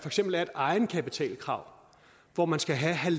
eksempel er et egenkapitalkrav hvor man skal have